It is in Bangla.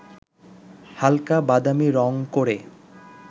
হালকা বাদামী রঙ করে